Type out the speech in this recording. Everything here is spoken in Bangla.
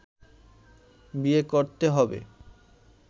বিয়ে করতে হবে